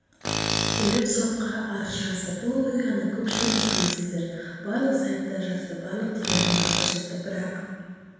келіп сотқа арыз жазды бұл оқиғаны көпшілігіңіз білесіздер барлық сайттар жазды барлық телеарналар көрсетті бірақ